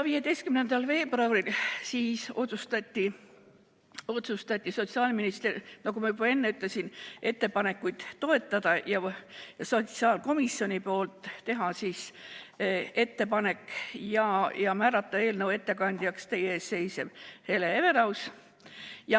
15. veebruaril otsustati, nagu ma juba ütlesin, ettepanekuid toetada ning sotsiaalkomisjoni poolt määrata eelnõu ettekandjaks teie ees seisev Hele Everaus.